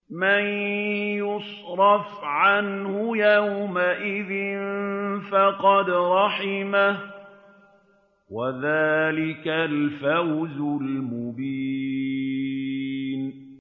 مَّن يُصْرَفْ عَنْهُ يَوْمَئِذٍ فَقَدْ رَحِمَهُ ۚ وَذَٰلِكَ الْفَوْزُ الْمُبِينُ